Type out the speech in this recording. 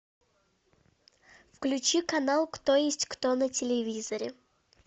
включи канал кто есть кто на телевизоре